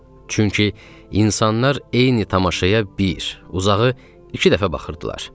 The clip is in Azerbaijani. Çünki insanlar eyni tamaşaya bir, uzağı iki dəfə baxırdılar.